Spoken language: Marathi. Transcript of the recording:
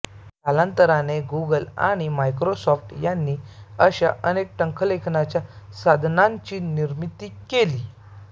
कालांतराने गूगल आणि मायक्रोसॉफ़्ट यांनी अशा अनेक टंकलेखनाच्या साधनांची निर्मिती केली